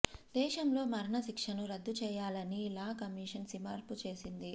దేశంలో మరణ శిక్షను రద్దు చేయాలని లా కమిషన్ సిఫార్సు చేసింది